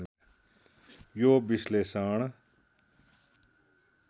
यो विश्लेषण